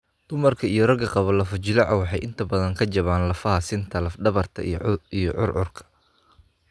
Dumarka iyo ragga qaba lafo-jileecu waxay inta badan ka jabaan lafaha sinta, lafdhabarta, iyo curcurka.